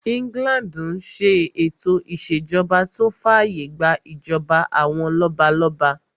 England n ṣe ètò ìṣèjọba tó fàyè gbà ìjọba àwọn lọ́balọ́ba